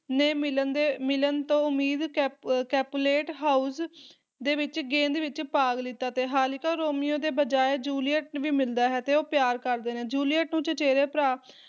ਨੇ ਮਿਲਣ ਦੇ ਮਿਲਣ ਤੋਂ ਉਮੀਦ ਕੈਪ ਕੈਪੁਲੇਟ ਹਾਊਸ ਦੇ ਵਿੱਚ ਗੇਂਦ ਵਿੱਚ ਭਾਗ ਲੀਤਾ ਤੇ ਹਾਲਾਂਕਿ, ਰੋਮੀਓ ਦੀ ਬਜਾਏ ਜੂਲੀਅਟ ਨੂੰ ਵੀ ਮਿਲਦਾ ਹੈ ਤੇ ਉਹ ਪਿਆਰ ਕਰਦੇ ਨੇ ਜੂਲੀਅਟ ਨੂੰ ਚਚੇਰਾ ਭਰਾ